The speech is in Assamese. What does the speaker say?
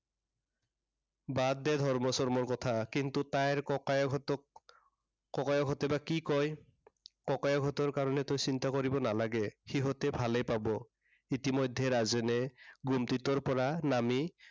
বাদ দে ধৰ্ম চৰ্মৰ কথা। কিন্তু তাইৰ ককায়েকহঁতক, ককায়েকহঁতে বা কি কয়? ককায়েকহঁতৰ কাৰনে তই চিন্তা কৰিব নালাগে। সিহঁতে ভালেই পাব। ইতিমধ্য়ে ৰাজেনে ঘুমটিটোৰ পৰা নামি